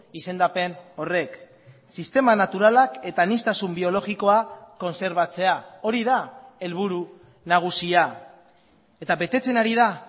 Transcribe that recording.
izendapen horrek sistema naturalak eta aniztasun biologikoa kontserbatzea hori da helburu nagusia eta betetzen ari da